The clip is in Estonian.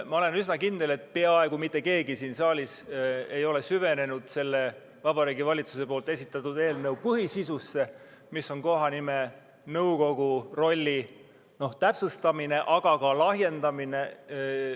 Ma olen üsna kindel, et peaaegu mitte keegi siin saalis ei ole süvenenud selle Vabariigi Valitsuse esitatud eelnõu põhisisusse, mis on kohanimenõukogu rolli täpsustamine, aga ka lahjendamine.